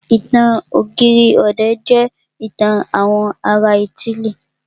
Ìtàn ọ̀gírì ọ̀dẹ̀ jẹ́ ìtàn àwọn ará ítílì.